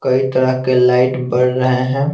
कई तरह के लाइट पड़ रहे हैं।